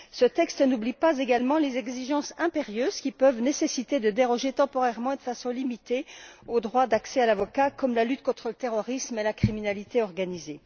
Ce texte n'oublie pas non plus les exigences impérieuses qui peuvent nécessiter de déroger, temporairement et de façon limitée, au droit d'accès à un avocat, telles que la lutte contre le terrorisme et la criminalité organisée.